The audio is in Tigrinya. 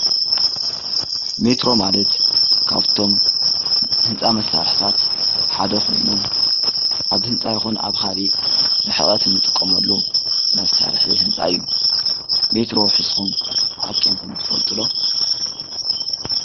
ሜትሮ ማለት ካብቶም ህንፃ መሳርሕታት ሓደ ኾይኑ ኣብ ህንፃ ይኹን ኣብ ኻሊእ ርሕቀት እንጥቀመሉ መሳርሒ ህንፃ እዩ። ሜትሮ ሒዝኩም ዓቂንኩም ትፈልጡ ዶ?